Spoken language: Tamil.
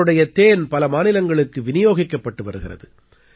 இவருடைய தேன் பல மாநிலங்களுக்கு விநியோகிக்கப்பட்டு வருகிறது